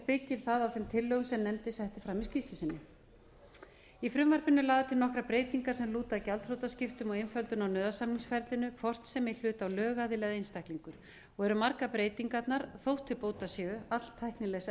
byggir það á þeim tillögum sem nefndin setti fram í skýrslu sinni í frumvarpinu eru lagðar fram nokkrar breytingar sem lúta að gjaldþrotaskiptum og einföldun á nauðasamningsferlinu hvort sem í hlut á lögaðili eða einstaklingur og eru margar breytingarnar þótt til bóta séu alltæknilegs eðlis